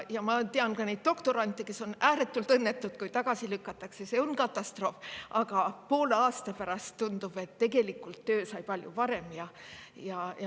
Ja ma tean ka doktorante, kes on olnud ääretult õnnetud, kui on tagasi lükatud – see on katastroof –, aga poole aasta pärast tundub, et tegelikult sai töö palju parem.